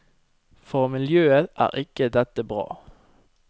For miljøet er ikke dette bra.